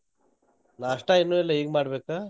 ನಾಸ್ಟಾ ಇನ್ನೂ ಇಲ್ಲ ಈಗ್ ಮಾಡ್ಬೇಕ.